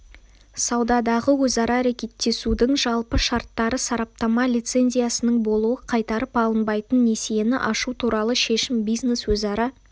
саудадағы өзара әрекеттесудің жалпы шарттары сараптама лицензиясының болуы қайтарып алынбайтын несиені ашу туралы шешім бизнес өзара